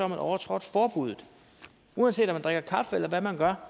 man overtrådt forbuddet uanset om man drikker kaffe eller hvad man gør